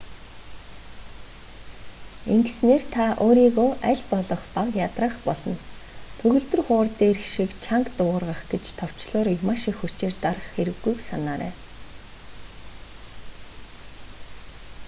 ингэснээр та өөрийгөө аль болох бага ядраах болно төгөлдөр хуур дээрх шиг чанга дуугаргах гэж товчлуурыг маш их хүчээр дарах хэрэггүйг санаарай